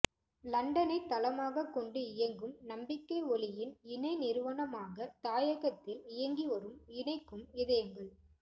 இலண்டனைத் தளமாகக் கொண்டு இயங்கும் நம்பிக்கை ஒளியின் இணை நிறுவனமாக தாயகத்தில் இயங்கிவரும் இணைக்கும் இதயங்கள்